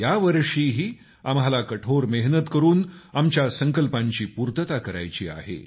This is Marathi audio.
यावर्षीही आम्हाला कठोर मेहनत करून आमच्या संकल्पांची पूर्तता करायची आहे